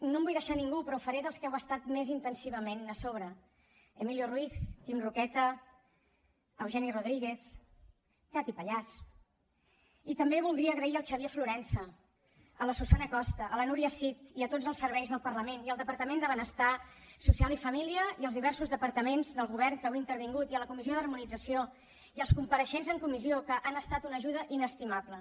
no em vull deixar ningú però ho faré dels que heu estat més intensivament a sobre emilio ruiz quim roqueta eugeni rodríguez cati pallàs i també voldria agrair al xavier florensa a la susana costa a la núria cid i a tots els serveis del parlament i al departament de benestar social i família i als diversos departaments del govern que heu intervingut i a la comissió d’harmonització i als compareixents en comissió que han estat una ajuda inestimable